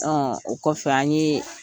o kɔfɛ an ye